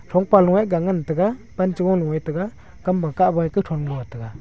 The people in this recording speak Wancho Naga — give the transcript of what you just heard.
thong pa loe ga ngan taiga pancho loe taiga kamma kah wai kathon no taiga.